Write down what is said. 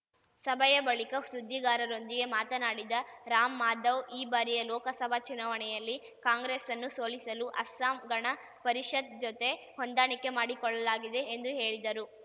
ಸಭೆಯ ಬಳಿಕ ಸುದ್ದಿಗಾರರೊಂದಿಗೆ ಮಾತನಾಡಿದ ರಾಮ್‌ಮಾಧವ್ ಈ ಬಾರಿಯ ಲೋಕಸಭಾ ಚುನಾವಣೆಯಲ್ಲಿ ಕಾಂಗ್ರೆಸ್‌ನ್ನು ಸೋಲಿಸಲು ಅಸ್ಸಾಂ ಗಣ ಪರಿಷತ್ ಜತೆ ಹೊಂದಾಣಿಕೆ ಮಾಡಿಕೊಳ್ಳಲಾಗಿದೆ ಎಂದು ಹೇಳಿದರು